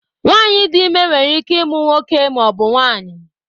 Nwanyị di ime nwere ike ịmụ nwoke maọbụ nwanyi